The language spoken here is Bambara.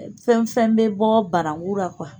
Fɛn fɛn bɛ bɔ baramuru la